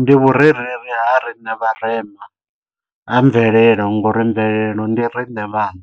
Ndi vhurereli ha riṋe vharema ha mvelele nga uri mvelelo ndi riṋe vhaṋe,